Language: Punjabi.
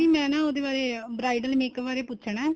ਮੈਂ ਨਾ ਉਹਦੇ ਬਾਰੇ bridal makeup ਬਾਰੇ ਪੁੱਛਣਾ ਏ